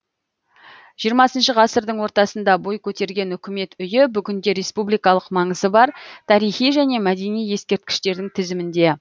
жиырмасыншы ғасырдың ортасында бой көтерген үкімет үйі бүгінде республикалық маңызы бар тарихи және мәдени ескерткіштердің тізімінде